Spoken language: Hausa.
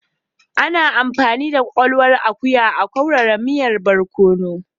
Ana amfani da kwakwalwan akuya a'kaurara miyan borkonu.